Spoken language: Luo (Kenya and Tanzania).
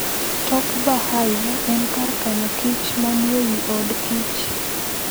Top Bar Hive en kar kano kichmanie wi od kich